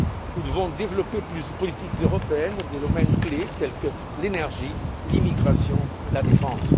nous devons développer plus de politiques européennes dans des domaines clefs tels que l'énergie, l'immigration et la défense.